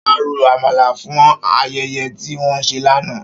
Ṣọlá ro Àmàlà fún ayẹyẹ tí wọ́n ṣe lánàá